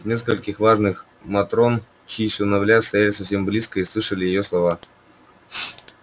несколько важных матрон чьи сыновья стояли совсем близко и слышали её слова